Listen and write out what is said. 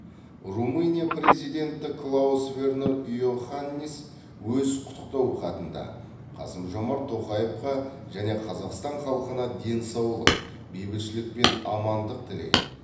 румыния президенті клаус вернер йоханнис өз құттықтау хатында қасым жомарт тоқаевқа және қазақстан халқына денсаулық бейбітшілік пен амандық тілеген